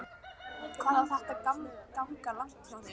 Hvað á þetta að ganga langt hjá þér?